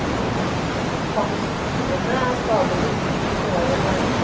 Fangstene er stadig blitt mindre med årene.